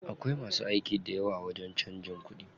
Akwai masu aiki dayawa a wajen canjin kuɗi.